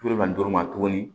ni duuru ma tuguni